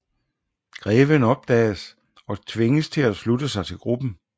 Greven opdages og tvinges til at slutte sig til gruppen